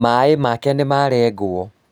Maĩ make nĩmarengwo